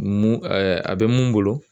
Mun a bɛ mun bolo